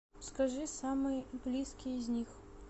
скажи самый близкий из них